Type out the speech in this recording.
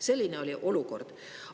Selline oli olukord.